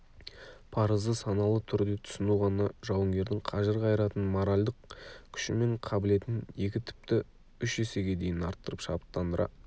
парызды саналы түрде түсіну ғана жауынгердің қажыр-қайратын моральдық күші мен қабілетін екі тіпті үш есеге дейін арттырып шабыттандыра